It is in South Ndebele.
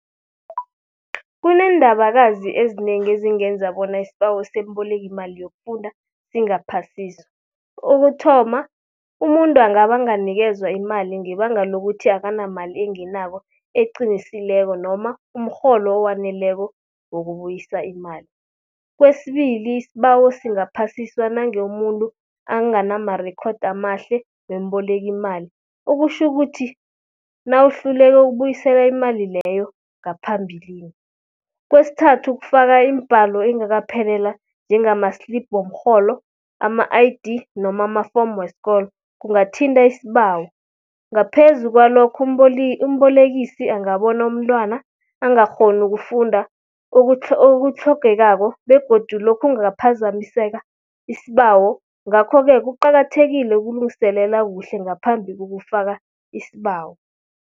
Kuneendabakazi ezinengi ezingenza bona isibawo sembolekimali yokufunda singaphasiswa. Kokuthoma, umuntu angabanganikezwa imali ngebanga lokuthi akanamali engenako, eqinisileko noma umrholo owaneleko wokubuyisa imali. Kwesibili, isibawo singaphasiswa nange umuntu anganamarekhodi amahle wembolekimali. Ukutjhukuthi, nawuhluleke ukubuyisela imali leyo ngaphambilini. Kwesithathu, kufaka iimbalo engakaphelela njengama-slip womrholo, ama-I_D noma amafomu weskolo, kungathinta isibawo. Ngaphezu kwalokho umbolekisi angabona umntwana angakghoni ukufunda okuthlogekako begodu lokhu kungaphazamiseka isibawo. Ngakho-ke kuqakathekile ukulungiselela kuhle ngaphambi kokufaka isibawo.